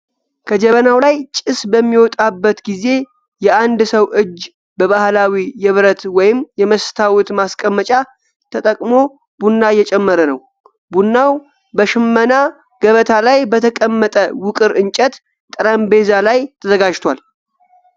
ከጀበናው ላይ ጭስ በሚወጣበት ጊዜ፣ የአንድ ሰው እጅ በባህላዊ የብረት ወይም የመስታወት ማስቀመጫ ተጠቅሞ ቡና እየጨመረ ነው። ቡናው በሽመና ገበታ ላይ በተቀመጠ ውቅር እንጨት ጠረጴዛ ላይ ተዘጋጅቷል።